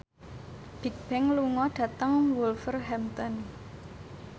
Bigbang lunga dhateng Wolverhampton